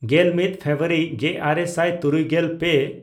ᱜᱮᱞᱢᱤᱫ ᱯᱷᱮᱵᱨᱩᱣᱟᱨᱤ ᱜᱮᱼᱟᱨᱮ ᱥᱟᱭ ᱛᱩᱨᱩᱭᱜᱮᱞ ᱯᱮ